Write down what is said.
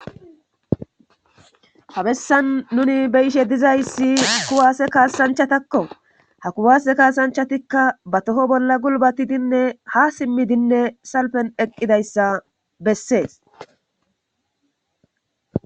Ha bessan nuni beyishe dizayssi kuwaase kaasanchatakko ha kuwase kaasanchatikka ba toho bolla gulbatidinne ha simmidinne salpen eqqidayssa bessees